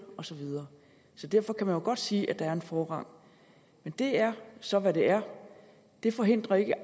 og så videre derfor kan man jo godt sige at der er en forrang men det er så hvad det er det forhindrer ikke